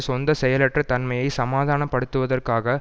சொந்த செயலற்ற தன்மையை சமாதான படுத்துவதற்காக